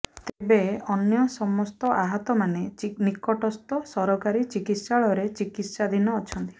ତେବେ ଅନ୍ୟ ସମସ୍ତ ଆହତମାନେ ନିକଟସ୍ଥ ସରକାରୀ ଚିକିତ୍ସାଳୟରେ ଚିକିତ୍ସାଧିନ ଅଛନ୍ତି